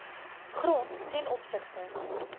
grond ten opsigte